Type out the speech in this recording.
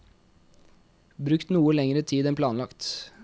Brukt noe lengre tid enn planlagt.